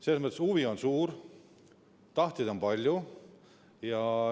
Selles mõttes, et huvi on suur ja tahtjaid on palju.